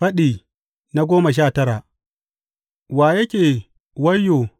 Faɗi goma sha tara Wa yake wayyo?